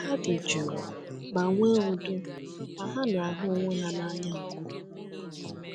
Ha dị jụụ ma nwee udo, ma ha na-ahụ onwe ha n’anya nke ukwuu.”